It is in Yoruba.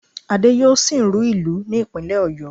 Adé yóò sìnrú ìlú ní ìpínlẹ̀ Ọ̀yó